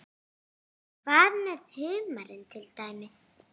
Hvað með humarinn til dæmis?